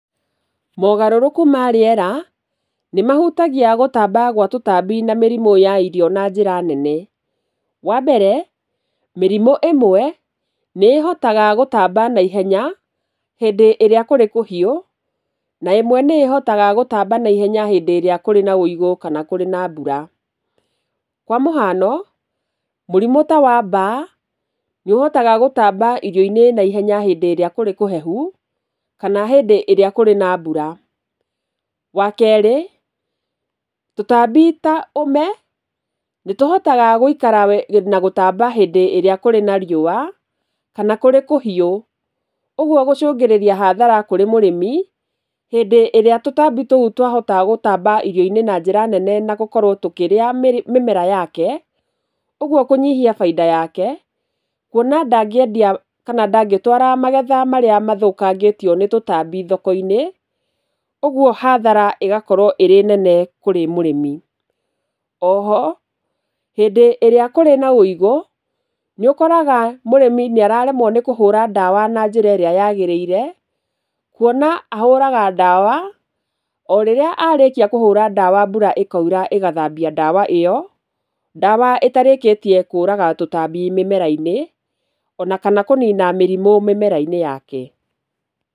Maũgarũrũku ma rĩera, nĩmahutagia gũtamba gwa tũtambi na mĩrimũ ya irio na njĩra nene. Wambere, mĩrimũ ĩmwe nĩ ĩhotaga gũtamba na ihenya hĩndĩ ĩrĩa kũrĩ kũhiũ, na ĩmwe nĩ ĩhotaga gũtamba naihenya hĩndĩ ĩrĩa kĩrĩ na ũigũ kana kũrĩ na mbura. Kwa mũhiano, mũrimũ ta wa mbaa nĩũhotaga gũtamba irio-inĩ na ihenya hĩndĩ ĩrĩa kũrĩ kũhehu, kana hĩndĩ ĩrĩa kũrĩ na mbura. Wakerĩ, tũtambi ta ũme, nĩtũhotaga gũtamba na gũikara hĩndĩ ĩrĩa kũrĩ na riũwa, kana kũrĩ kũhiũ, ũguo gũcũngĩrĩria hathara kũrĩ mũrĩmi, hĩndĩ ĩrĩa tũtambi tũu twahota mĩmera-inĩ na njĩra nene nagũkorwo tũkĩrĩa mĩmera yake, ũguo kũnyihia bainda yake, kuona atĩ ndangĩendia kana ndangĩtwara magetha marĩa mathũkangĩtio nĩ tũtambi thoko-inĩ, ũguo hathara ĩgakorwo ĩrĩ nene kũrĩ mũrĩmi. Oho, hĩndĩ ĩrĩa kũrĩ na ũigũ, nĩũkoraga mũrĩmi nĩ araremwo kũhũra ndawa na njĩra ĩrĩa yagĩrĩire, kuona ahũraga ndawa, orĩrĩa arĩkia kũhũra ndawa mbura ĩkaura ĩgathambia ĩyo, ndawa ĩtarĩkĩtie kũraga tũtambi mĩmera-inĩ, ona kana kũnina mĩrimũ mĩmera-inĩ yake.